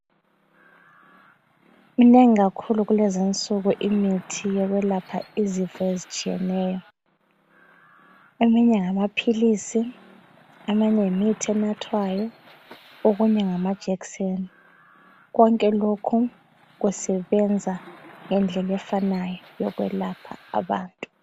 Minengi kakhulu kulezi insuku imithi yokwelapha izifo ezitshiyeneyo. Eminye ngamaphilisi, eminye yimithi enathwayo. Okunye ngamajekiseni, konke lokho kusebenza ngendlela efanayo yokwelapha abantu.